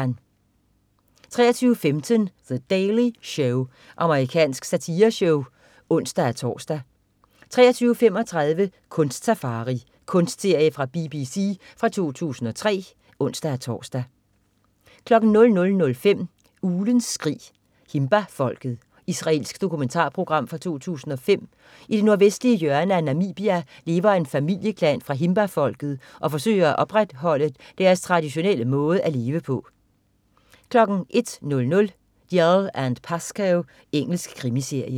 23.15 The Daily Show. Amerikansk satireshow (ons-tors) 23.35 Kunst-safari. Kunstserie fra BBC fra 2003 (ons-tors) 00.05 Uglens skrig. Himba-folket. Israelsk dokumentarprogram fra 2005. I det nordvestlige hjørne af Namibia, lever en familieklan fra himba-folket og forsøger at opretholde deres traditionelle måde at leve på 01.00 Dalziel & Pascoe. Engelsk krimiserie